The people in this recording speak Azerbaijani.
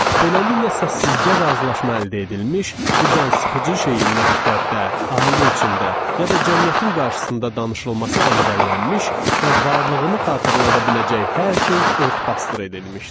Beləliklə, səssizcə razılaşma əldə edilmiş, bu cansıxıcı şeyin məktəbdə, ailə içində ya da cəmiyyətin qarşısında danışılması əngəllənmiş və varlığını xatırlada biləcək hər şey ört-basdır edilmişdi.